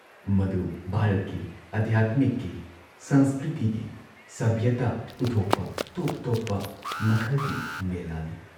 ꯃꯗꯨ ꯚꯥꯔꯠꯀꯤ ꯑꯙ꯭ꯌꯥꯠꯃꯤꯛꯀꯤ ꯁꯪꯁꯀ꯭ꯔꯤꯇꯤꯒꯤ ꯁꯚ꯭ꯌꯇꯥ ꯎꯠꯊꯣꯛꯄ ꯇꯣꯞ-ꯇꯣꯞꯄ ꯃꯈꯜꯒꯤ ꯃꯦꯂꯥꯅꯤ